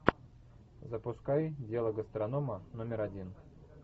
запускай дело гастронома номер один